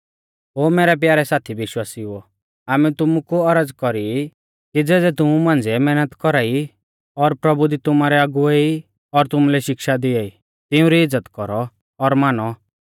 ओ मैरै प्यारै साथी विश्वासिउओ आमै तुमु कु औरज़ कौरी ई कि ज़ेज़ै तुमु मांझ़िऐ मैहनत कौरा ई और प्रभु दी तुमारै अगुवै ई और तुमुलै शिक्षा दिआई तिउंरी इज़्ज़त कौरौ और मानौ